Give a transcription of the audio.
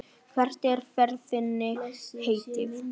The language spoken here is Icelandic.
Hvert er ferð þinni heitið?